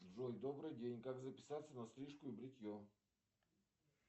джой добрый день как записаться на стрижку и бритье